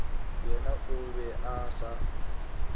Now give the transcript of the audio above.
yena o be a sa